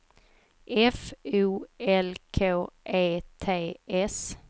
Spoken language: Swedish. F O L K E T S